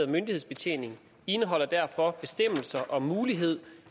myndighedsbetjening indeholder derfor bestemmelser om mulighed